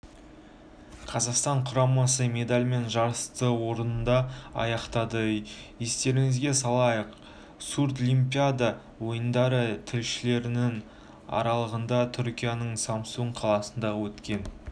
қазақстан құрамасы медальмен жарысты орында аяқтады естеріңізге салайық сурдлимпиада ойындары шілденің аралығында түркияның самсун қаласында өткен